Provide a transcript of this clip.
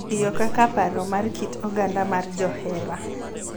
Tiyo kaka paro mar kit oganda mar johera